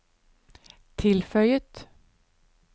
tilføyet